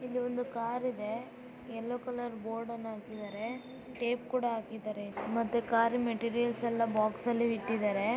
ಇಲ್ಲಿ ಒಂದು ಕಾರ್ ಇದೆ ಯೆಲ್ಲೋ ಕಲರ್ ಬೋರ್ಡ್ ಅನ್ನ ಹಾಕಿದರೆ ಪ್ಲೇಟ್ ಕೂಡ ಹಾಕಿದರೆ ಮತ್ತೆ ಕಾರ್ ಮೆಟೀರಿಯಲ್ಸ್ ಅನ್ನು ಕಾರ್ನಲ್ಲೇ ಇಟ್ಟಿದ್ದಾರೆ.